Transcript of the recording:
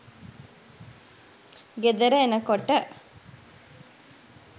ගෙදර එනකොට